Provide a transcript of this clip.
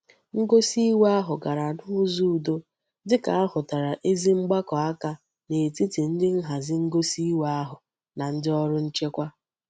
Ngosi iwe ahu gara n'uzo udo dika a hutara ezi mgbako aka n'etiti ndi nhazi ngosi iwe ahu na ndi órú nchekwa.